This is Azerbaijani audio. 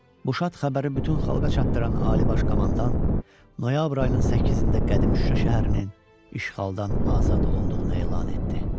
Bu şad xəbəri bütün xalqa çatdıran Ali Baş Komandan noyabr ayının 8-də qədim Şuşa şəhərinin işğaldan azad olunduğunu elan etdi.